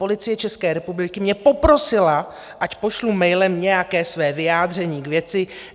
Policie České republiky mě poprosila, ať pošlu mailem nějaké své vyjádření k věci.